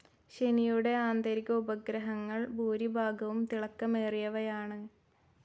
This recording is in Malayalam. ശനിയുടെ ആന്തരിക ഉപഗ്രഹങ്ങൾ ഭൂരിഭാഗവും തിളക്കമേറിയവയാണ്.